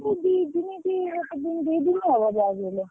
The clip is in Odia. ଦି ଦିନ କି ଗୋଟେ ଦିନ ଦି ଦିନ ହବ ଯାହା ବି ହେଲେ।